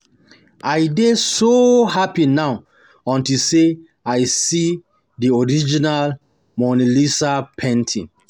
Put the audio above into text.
I dey so happy now unto say I see the original Mona Lisa painting